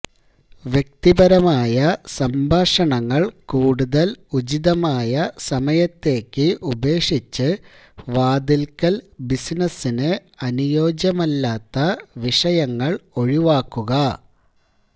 വ്യക്തിപരമായ സംഭാഷണങ്ങൾ കൂടുതൽ ഉചിതമായ സമയത്തേക്ക് ഉപേക്ഷിച്ച് വാതിൽക്കൽ ബിസിനസ്സിന് അനുയോജ്യമല്ലാത്ത വിഷയങ്ങൾ ഒഴിവാക്കുക